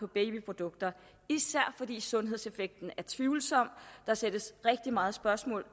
babyprodukter især fordi sundhedseffekten er tvivlsom der stilles rigtig meget spørgsmål